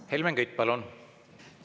Helmen Kütt, palun!